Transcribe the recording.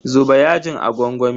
Zuba yajin a gwangwami.